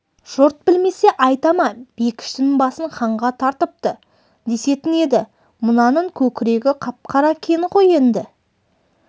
жұрт білмесе айта ма бекіштің басын ханға тартыпты десетін еді мынаның көкірегі қап-қара кен ғой енді